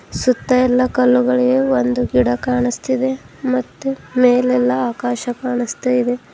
ಸುತ್ತ ಎಲ್ಲಾ ಕಲ್ಲುಗಳಿವೆ ಒಂದು ಗಿಡ ಕಾಣಸ್ತಿದೆ ಮತ್ತು ಮೇಲೆಲ್ಲಾ ಆಕಾಶ ಕಾಣಸ್ತಾಇದೆ.